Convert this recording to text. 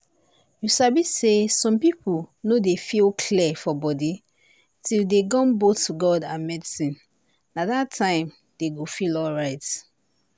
you sabi say some people no dey feel clear for body till dey gum both god and medicine na that time dey go feel alright.